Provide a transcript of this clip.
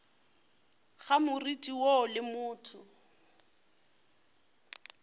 ga moriti woo le motho